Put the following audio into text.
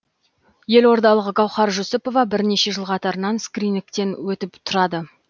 елордалық гауһар жүсіпова бірнеше жыл қатарынан скринигтен өтіп тұрады